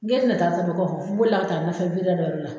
N g'e tɛ na taa n boli la ka taa nɔfɛ dɔ de la.